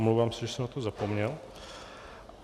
Omlouvám se, že jsem na to zapomněl.